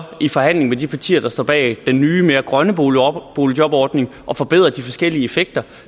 i forhandling med de partier der står bag den nye og mere grønne boligjobordning at forbedre de forskellige effekter